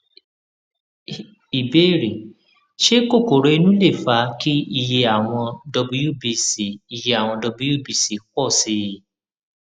ìbéèrè ṣé kokoro inú lè fa kí iye àwọn wbc iye àwọn wbc pọ sí i